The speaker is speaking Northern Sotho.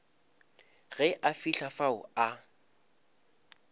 ge a fihla fao a